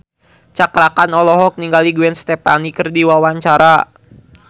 Cakra Khan olohok ningali Gwen Stefani keur diwawancara